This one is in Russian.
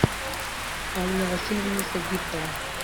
анна васильевна садикова